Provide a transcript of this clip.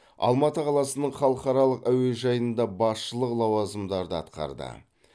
алматы қаласының халықаралық әуежайында басшылық лауазымдарды атқарды